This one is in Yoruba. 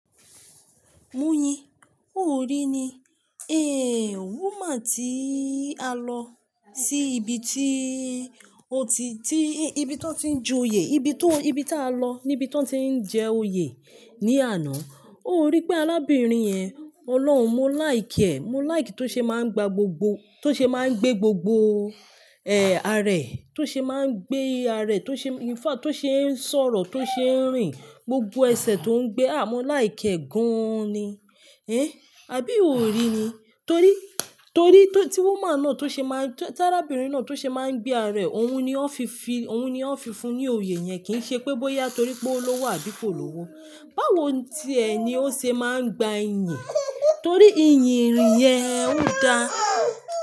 Moyin, ó rí ni, woman tí a lọ sí ibi tí ó ti, tí ibi tí tọ́n ti ń joyè, ibi tó, ibi tí a lọ, níbi tí wọ́n ti ń jẹ oyè ní àná. Ó rí pé arábìnrin yẹn, Ọlọ́run, mo like ẹ̀, mo like tó ṣe máa ń gba gbogbo, tó ṣe máa ń gbé gbogbo, àárẹ̀, tó ṣe máa ń gbé àárẹ̀, tó ṣe, in fact tó ṣe ń sọ̀rọ̀, tó ṣe ń rìn, gbogbo ẹsẹ̀ tó ń gbé, a mo like ẹ̀ gan ni. Àbí o rí ni? Torí, torí tí woman náà tó ṣe máa ń, tí arábìnrin náà tó ṣe máa ń gbé àárẹ̀, òun ni ó fi fi, òun ni ó fi fún ní oyè yẹn kì í ṣe pé bóyá torí pé ó l'ówó bí i kò lówó. Báwo tí ẹ ni ó ṣe máa ń gba iyìn? Torí iyìn ìrìn yẹn ó da.